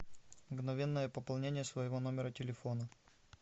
мгновенное пополнение своего номера телефона